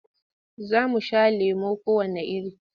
Za mu sha lemo kowanne iri.